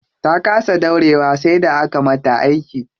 Ta kasa haihuwa sai da aka mata aiki.